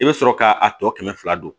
I bɛ sɔrɔ ka a tɔ kɛmɛ fila don